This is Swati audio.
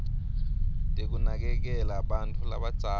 tekunakekela bantfu labadzala